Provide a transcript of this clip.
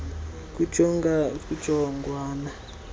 iyenye kuya kujongwana